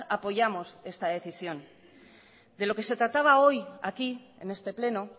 apoyamos esta decisión de lo que se trataba hoy aquí en este pleno